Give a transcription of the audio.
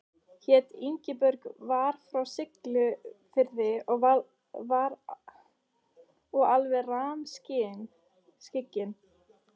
Hét Ingibjörg, var frá Siglufirði og alveg rammskyggn.